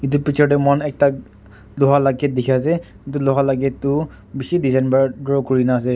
etu picture teh moikhan ekta loha lah gate dikhi ase etu loha lah gate tu bishi design para grow kuri na ase.